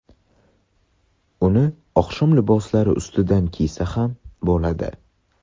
Uni oqshom liboslari ustidan kiysa ham bo‘ladi.